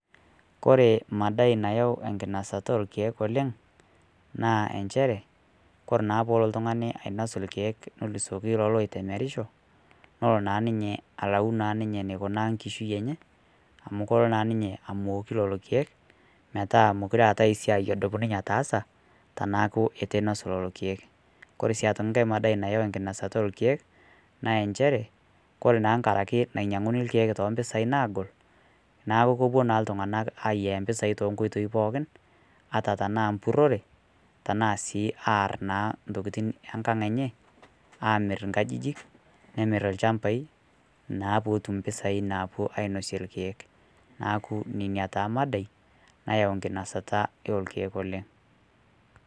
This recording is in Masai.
Kore maadai nayau enkinasata orkiek oleng naa encheere kore naa pee loo ltung'ani ainos orkiek nolusokii loloo loitemerisho loo naa ninyee alauu naa ninye naikunaa nkishui enye amu koloo naa ninyee amooku lolo orkiek metaa meokore etai siai nadiim ninye ataasa tenaaku etuu einos lolo orkiek. Kore sii aitooki nkaai maadai nayau nkinosota orkiek naa encheere kore naa kang'araki naiyang'uni orkiek to mpisai naagool, naa kopoo naa ltung'anak aiyaa mpisai te nkotoii pookin ata tana mpurore tana sii aar sii ntokitin e nkaang enye. Amiir nkajijin nemiir lchaambai naa pootum mpesai naapoo ainosie orkiek. Naaku nenia taa maadai nayau nkinosota erkiek oleng.